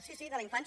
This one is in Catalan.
sí sí de la infància